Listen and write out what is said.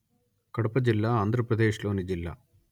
కడప జిల్లా ఆంధ్రప్రదేశ్ లోని జిల్లా